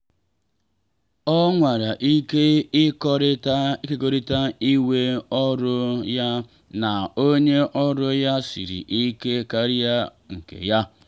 ọ nwara ike ịkekọrịta iwe ọrụ ya na onye ọrụ ya siri ike karịa nke ya.